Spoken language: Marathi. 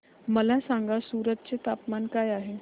मला सांगा सूरत चे तापमान काय आहे